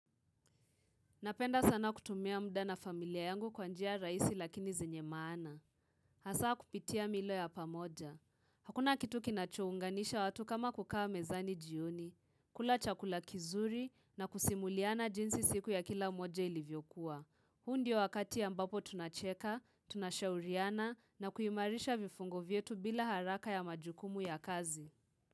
Napenda sana kutumia mda na familia yangu kwa njia rahisi lakini zenye maana. Hasaa kupitia milo ya pamoja. Hakuna kitu kinachounganisha watu kama kukaa mezani jioni. Kula chakula kizuri na kusimuliana jinsi siku ya kila mmoja ilivyokuwa. Huu ndio wakati ambapo tunacheka, tunashauriana na kuimarisha vifungo vyetu bila haraka ya majukumu ya kazi.